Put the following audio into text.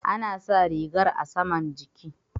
Ana sa rigar a saman jiki.